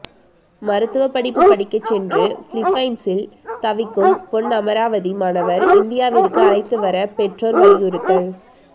மருத்துவ படிப்பு படிக்க சென்று பிலிப்பைன்சில் தவிக்கும் பொன்னமராவதி மாணவர் இந்தியாவிற்கு அழைத்து வர பெற்றோர் வலியுறுத்தல்